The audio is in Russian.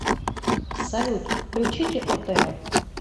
салют включите отр